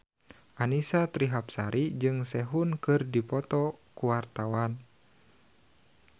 Annisa Trihapsari jeung Sehun keur dipoto ku wartawan